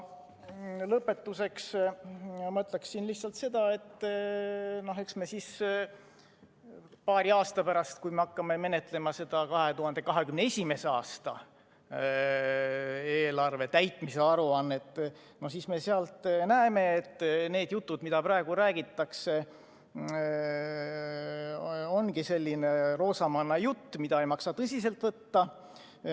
Lõpetuseks ütlen lihtsalt seda, et eks me paari aasta pärast, kui me hakkame menetlema 2021. aasta eelarve täitmise aruannet, näeme, et need jutud, mida praegu räägitakse, ongi selline roosamannajutt, mida ei maksa tõsiselt võtta.